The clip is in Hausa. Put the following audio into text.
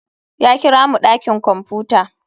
Ya kira mu dakin kwamfuta.